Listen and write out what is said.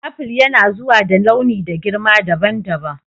Aful yanazuwa da launi da girma dabam dabam.